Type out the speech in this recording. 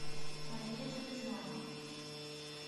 мария железнова